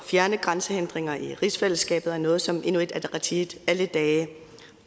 fjerne grænsehindringer i rigsfællesskabet er noget som inuit ataqatigiit alle dage